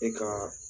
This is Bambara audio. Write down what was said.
E ka